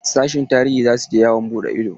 Sashin tarihi za su je yawon buɗe ido.